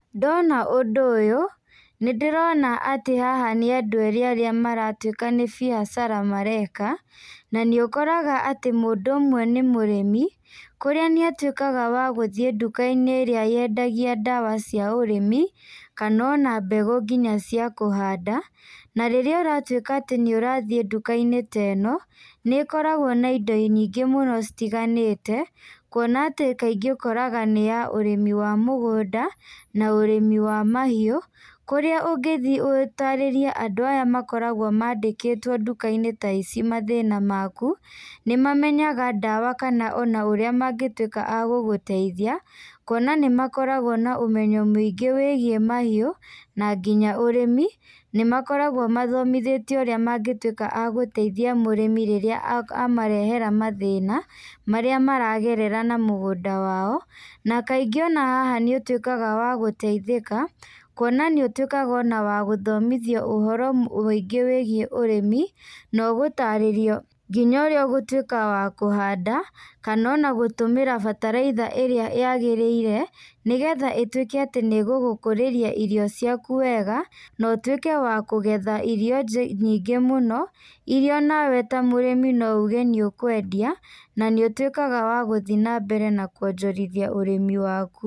Ndona ũndũ ũyũ, nĩndĩrona atĩ haha nĩandũ erĩ arĩa maratuĩka nĩ biacara mareka, na niũkoraga atĩ mũndũ ũmwe nĩmũrĩmi, kũrĩa nĩatuĩkaga wa gũthiĩ ndukainĩ ĩrĩa yendagia ndawa cia ũrĩmi, kana ona mbegũ nginya cia kũhanda, na rĩrĩa ũratuĩka atĩ nĩũrathiĩ ndukainĩ ta ĩno, nĩ ĩkoragwo na indo nyingĩ mũno citiganĩte, kuona atĩ kaingĩ ũkoraga nĩ ya ũrĩmi wa mũgũnda, na ũrĩmi wa mahiũ, kũrĩa ũngĩ thiĩ ũtarĩrie andũ aya makoragwo mandĩkĩtwo ndukainĩ ta ici mathĩna maku, nĩmamenyaga ndawa kana ona ũrĩa magĩtuĩka a gũgũteithia, kuona nĩ makoragwo na ũmenyo mwingĩ wĩgiĩ mahiũ, na nginya ũrĩmi, nĩmakoragwo mathomithĩtio ũrĩa mangĩtuĩka a gũteithia mũrĩmi rĩrĩa amarehera mathĩna, marĩa maragerera na mũgũnda wao, na kaingĩ ona haha nĩũtuĩkaga wa gũteithĩka, kuona nĩ ũtuĩkaga ona wa gũthomithio ũhoro mũingĩ wĩgiĩ ũrĩmi, na ũgũtarĩrio nginya ũrĩa ũgũtuĩka wa kũhanda, kana ona gũtũmĩra bataraitha ĩrĩa yagĩrĩire, nĩgetha ĩtuĩke atĩ nĩgũgũkũrĩria irio ciaku wega, na ũtuĩke wa kũgetha irio nje nyingĩ mũno, iria nawe ta mũrĩmi no uge nĩ ũkwendia, na nĩ ũtuĩkaga wa gũthiĩ nambere na kuonjorithia ũrĩmi waku.